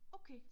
Okay